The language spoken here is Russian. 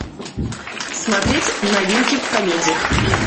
смотреть новинки в комедиях